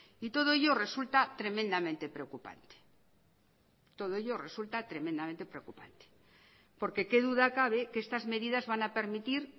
y todo ello resulta tremendamente preocupante todo ello resulta tremendamente preocupante porque qué duda cabe que estas medidas van a permitir